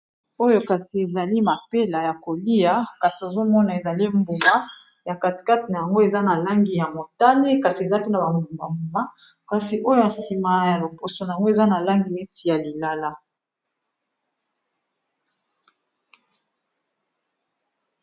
Oyo kasi ezali mapela ya kolia kasi ozomona ezali mbuma ya katikati nango eza na langi ya motane kasi eza mpena bambuba mbuma kasi oyo ya nsima ya loposo na yango eza na langi neti ya lilala